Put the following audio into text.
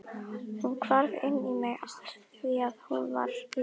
Hún hvarf inn í mig afþvíað hún var ég.